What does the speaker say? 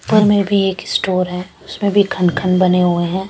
उपर में भी एक स्टोर है उसमे भी खन खन बने हुए है ।